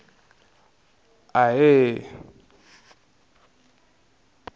ahee